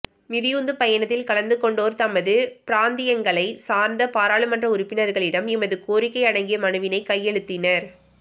மிதியுந்து பயணத்தில் கலந்துகொண்டோர் தமது பிராந்தியங்களைச் சார்ந்த பாராளுமன்ற உறுப்பினர்களிடம் எமது கோரிக்கை அடங்கிய மனுவினை கையளித்தனர்